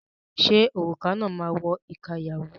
Ṣé òrùka náà máa wọ ìka ìyàwó?